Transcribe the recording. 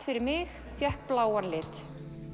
fyrir mig fékk bláan lit